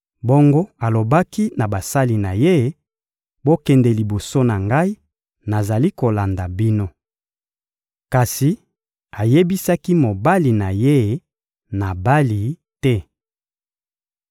Bongo alobaki na basali na ye: «Bokende liboso na ngai, nazali kolanda bino.» Kasi ayebisaki mobali na ye, Nabali, te.